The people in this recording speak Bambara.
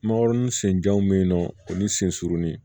Makɔrɔni senjanw bɛ yen nɔ o ni sen surunin